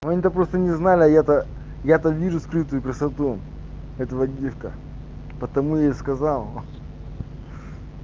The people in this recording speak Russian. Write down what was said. ну они то просто не знали а я то я то вижу скрытую красоту этого гифка потому я и сказал